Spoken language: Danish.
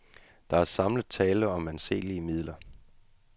Der er samlet tale om anselige midler.